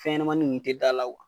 Fɛn ɲɛnɛmani nunnu te da la o